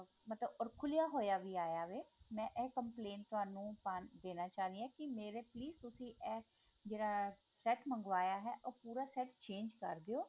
ਮਤਲਬ ਖੁਲਿਆ ਹੋਇਆ ਵੀ ਆਇਆ ਹੈ ਮੈਂ ਇਹ complaint ਤੁਹਾਨੂੰ ਦੇਣਾ ਚਾਹੁੰਦੀ ਹਾਂ ਕੀ ਮੇਰੇ please ਤੁਸੀਂ ਇਹ ਜਿਹੜਾ ਇਹ set ਮੰਗਵਾਇਆ ਹੈ ਉਹ ਪੂਰਾ set change ਕਰ ਦਿਓ